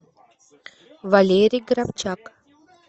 валерий грабчак